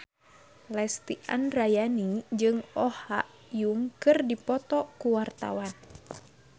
Lesti Andryani jeung Oh Ha Young keur dipoto ku wartawan